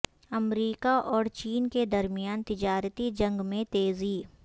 امریکہ اور چین کے درمیان تجارتی جنگ میں تیزی